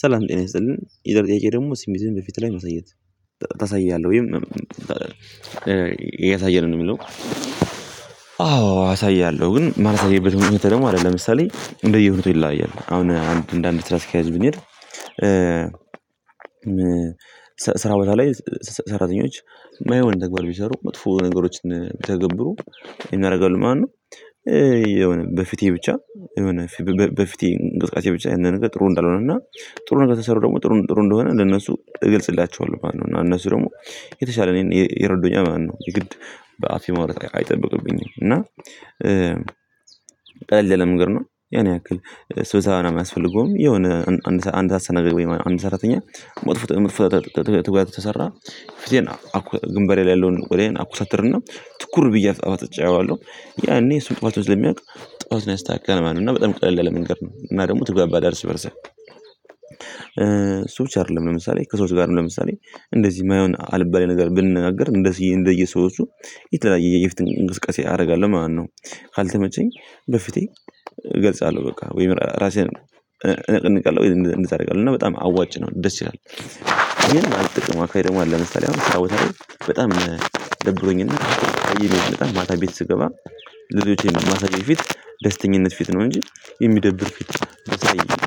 ሰላም ጤና ይስጥልን የዛሬ ጥያቄ ደግሞ ሲሚዝም በፊት ላይ ማሳየት ታሳያለህ ወይም ያሳየን ነው ሚለው? አዎ አሳያለሁ ግን ማሳይበት ምክንያቴ አለ ደግሞ ለምሳሌ እንደየ ሁኔታው ይላያያል አሁን እንደ አንድ ስራ አስኪያጅ ብንሄድ ስራ ቦታ ላይ ሰራተኞች ማይሆን ተግባር ቢሰሩ መጥፎ ነገሮችን ቢተገብሩ ይሆን ያደርጋሉ ማለት ነው። የሆነ በፊቴ ብቻ የሆነ በፊቴ እንቅስቃሴ ብቻ ያነ ነገር ጥሩ እንዳልሆነ እና ጥሩ ነገር ተሰሩ ደግሞ ጥሩ ጥሩ እንደሆነ ለነሱ እገልጽላቸዋለሁ ማለት ነው። እና እነሱ ደግሞ የተሻለ እኔን ይረዶኛል ማለት ነው። የግድ በአፌ ማውራት አይጠብቅብኝም እና። ቀለል ያለ መንገድ ነው ያን ያክል ስብሰባ ምናምን አያስፈልገውም። የሆነ አንድ አስተናጋጅ ወይም አንድ ሰራተኛ ሞት ሞት ትጓዝ ተሰራ ፍትህን ግንባሬ ላይ ያለውን ወዲያውን አኩሳተርና ትኩር ብዬ አፍጥጨ አየዋለሁ። ያኔ እሱን ጥፍቱን ስለሚያውቅ ጥፍቱን ያስተካክላል ማለት ነው። እና በጣም ቀለል ያለ መንገገድ ነው። እና ደግሞ ትግባባለህ እርስ በእርስህ። እሱ ብቻ አይደለም ለምሳሌ ከሰዎች ጋር ለምሳሌ እንደዚህ የማይሆን አልባሌ ነገር ብንናገር እንደዚህ እንደየሰወቹ የተለያየ የፊቴን እንቅስቃሴ አደርጋለሁ። ማነው ካልተመቸኝ በፊቴ እገልጻለሁ በቃ ወይም እራሴን እነቀንቃለሁ እና በጣም አዋጭ ነው ደስ ይላል። ይሄን ማልጠቅመው አካባቢ ደግሞ አለ። ለምሳሌ አሁን ስራ ቦታ ላይ በጣም ደብሮኝና እና በጣም ማታ ቤት ስገባ ልጆቼን ማታ ከማሳየት ቀፊት ደስተኛነት ፊት ነው። እንጂ የሚደብር ፊት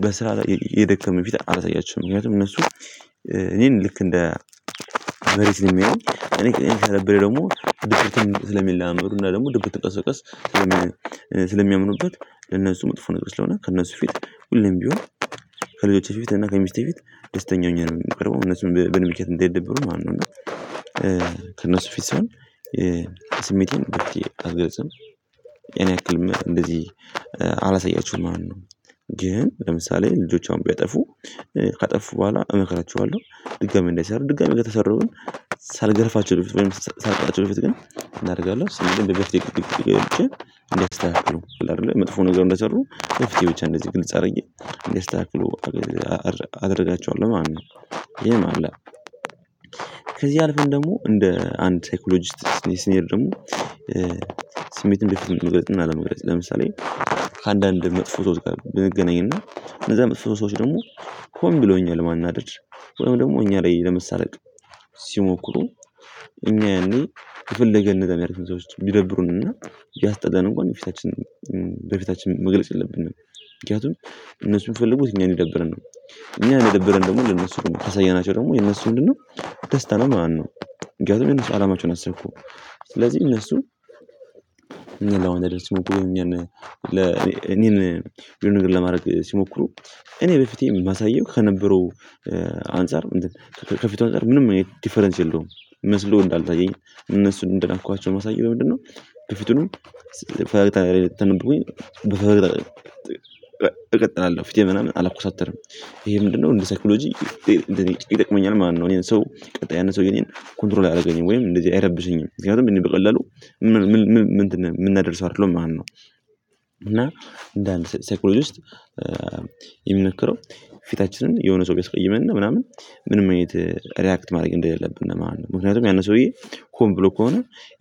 በስራ ላይ የደከመ ፊት አላሳያችውም። ምክንያቱም እነሱ እኔን ልክ እንደ መሬት ለሚያየኝ እኔ ከነበረ ደግሞ ድርጅቱን ስለሚለማመዱ እና ደግሞ ድብቅ ተቀሰቀስ ስለሚያምኑበት። ለነሱ መጥፎ ነጥብ ስለሆነ ከነሱ ፊት ሁሌም ቢሆን ከሌሎች ፊት እና ከሚስቴ ፊት ደስተኛ ሆኜ ነው የምቀርበው እነሱን በእኔ ምክንያት እንዳይደበሩ ማለት ነው። ከእነሱ ፊት ስሆን ስሜቴን ብትይ አልገልጽም። ያን ያክል እንደዚህ አላሳያችሁም ማለት ነው። ግን ለምሳሌ ልጆቿን ቢያጠፉ ካጠፉ በኋላ እመክራቸዋለሁ። ድጋሚ እንዳይሰሩ ድጋሚ ከተሰሩ ግን ሳልገርፋቸው በፊት ወይም ሳልቀጣቸው በፊት ግን ምን አደርጋለሁ? ስንት ደግሞ በፊት የተወያየ ብቻ እንዲያስተናግዱ አይደለ መጥፎ ነገር እንደሰሩ በፊት ብቻ እንደዚህ ግልጽ አድርጌ እንዲያስካክሉ አደርጋቸዋለሁ ማለት ነው። ይሄ አለ። ከዚህ አልፎን ደግሞ እንደ አንድ ሳይኮሎጂስት ስንሄድ ደግሞ ስሜትን በፊት መግለጽ እና አለመግለጽ ለምሳሌ። ከአንዳንድ መጥፎ ሰውች ጋር ብንገናኝና እና እነዛ መጥፎ ሰዎች ደግሞ ሆን ብለው እኛን ለማናደድ ወይም ደግሞ እኛ ላይ ለመሳለቅ ሲሞክሩ። እኛ ያኔ የፈለገ ነገር ቢያደርጉ እነዛ ሰውች ቢደብሩን እና ቢያስጠላን እንኳን በፊታችን በፊታችን መግለጽ የለብንም። ምክንያቱም እነሱ ሚፈልጉት እኛን እንዲደብረን ነው። እኛን የደበረን ደግሞ ልነሱ ካሳየናቸው ደግሞ የነሱ ምንድነው? ደስታ ነው ማለት ነው። ምክንያቱም የነሱ አላማቸውን አሳኩ። ስለዚህ እነሱ እኛ ለሆነ ደስ ሞክሮ እኛን ለ እኔን የሆነ ነገር ለማድረግ ሲሞክሩ እኔ በፊቴ ማሳየው ከነበረው አንፃር ከፊቱ አንፃር ምንም አይነት ዲፈረንስ የለውም። መስሎ እንዳልታየኝ እነሱን እንደናኳቸው ማሳየት በምንድነው? በፊቱንም ትቀጥላለህ ትንብቁኝ ትቀጥላለህ እቀጥላለሁ ፊቴ ምናምን አላኮሳተርም። ይሄ ምንድነው እንደ ሳይኮሎጂ ይጠቅመኛል ማለት ነው። እኔን ሰው ቀጣይ ያንን ሰው ኮንትሮል አየደረገኝም ወይም እንደዚህ አይረብሽኝም ምክንያቱም እኔ በቀላሉ ምን ምን ምን ምናደድ ሰው አይደለም ማለት ነው። እና እንደ አንድ ሳይኮሎጂስት የሚመከረው ፊታችንን የሆነ ሰው ቢያስቀይምነ ምናምን ምንም አይነት ሪአክት ማድረግ እንደሌለብን ማለት ነው። ምክንያቱም ያንን ሰውዬ ሆን ብሎ ከሆነ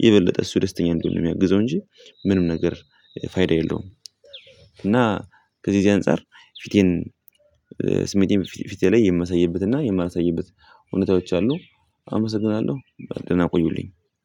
የበለጠ እሱ ደስተኛ እንዲሆነ ነው ሚያግዘው እንጂ ምንም ነገር ፋይዳ የለውም። እና ከዚህ ከዚህ አንፃር ፊቴን ስሜቴን በፊቴ ላይ የማሳይበትና የማላሳይበት እውነታዎች አሉ። አመሰግናለሁ በደና ቆዩልኝ።